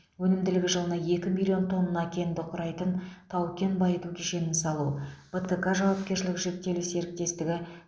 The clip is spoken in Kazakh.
өнімділігі жылына екі миллион тонна кенді құрайтын тау кен байыту кешенін салу бтк жауапкершілігі шектеулі серіктестігі